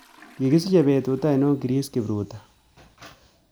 Kigisiche petut ainon Chris kipruto